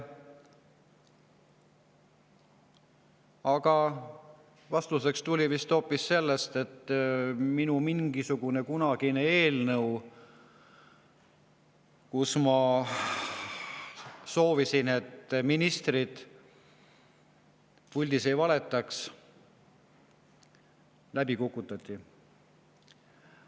Aga vastuseks tuli hoopis sellele, et minu mingisugune kunagine eelnõu, kus ma soovisin, et ministrid puldis ei valetaks, kukutati läbi.